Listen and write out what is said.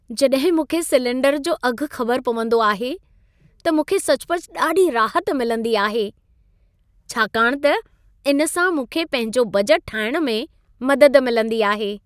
जॾहिं मूंखे सिलेंडर जो अघ ख़बर पवंदो आहे त मूंखे सचुपचु ॾाढी राहत मिलंदी आहे, छाकाणि त इन सां मूंखे पंहिंजो बजटु ठाहिण में मदद मिलंदी आहे।